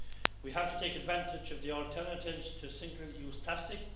We have to take advantage of the alternatives to single-use plastic.